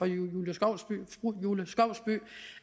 julie skovsby